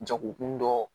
Jagokun dɔ